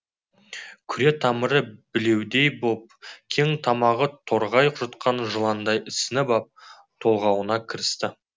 күре тамыры білеудей боп кең тамағы торғай жұтқан жыландай ісініп ап толғауына кірісті